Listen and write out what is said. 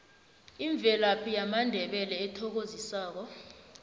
imvelaphi yamandebele ethokozisako